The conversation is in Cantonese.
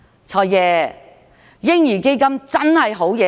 "財爺"，嬰兒基金是個好建議。